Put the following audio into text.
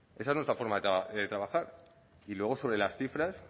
esa es nuestra forma de trabajar y luego sobre las cifras